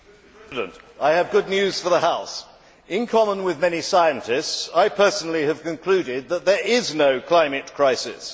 Mr President, I have good news for the House in common with many scientists, I personally have concluded that there is no climate crisis!